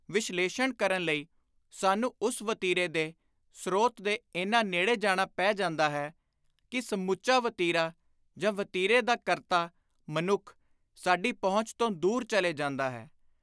ਵਿਸ਼ਲੇਸ਼ਣ ਕਰਨ ਲਈ ਸਾਨੂੰ ਉਸ ਵਤੀਰੇ ਦੇ ਸ਼੍ਤ ਦੇ ਏਨਾ ਨੇੜੇ ਜਾਣਾ ਪੈ ਜਾਂਦਾ ਹੈ ਕਿ ਸਮੁੱਚਾ ‘ਵਤੀਰਾ’ ਜਾਂ ਵਤੀਰੇ ਦਾ ਕਰਤਾ (ਮਨੁੱਖ) ਸਾਡੀ ਪਹੁੰਚ ਤੋਂ ਦੂਰ ਚਲੇ ਜਾਂਦਾ ਹੈ।